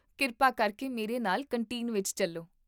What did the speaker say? ਕਿਰਪਾ ਕਰਕੇ ਮੇਰੇ ਨਾਲ ਕੰਟੀਨ ਵਿੱਚ ਚੱਲੋ